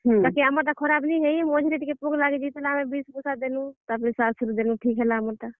ବାକି ଆମର ଟା ଖରାପ ନାଇ ହେଇ, ବାକି ମଝିରେ ଟିକେ ପୋକ ଲାଗି ଯାଇଥିଲା ଆମେ ଟିକେ ବିଷ୍ ବୁଷା ଦେଲୁଁ, ତାପ୍ ରେ ସାର୍ ସୁରି ଦେଲୁଁ, ଠିକ୍ ହେଲା ଆମର୍ ଟା।